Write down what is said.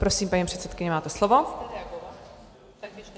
Prosím, paní předsedkyně, máte slovo.